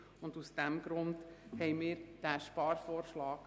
Das ist der Grund für unseren Sparvorschlag.